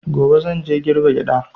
Gobe zan je girbe gyaɗa.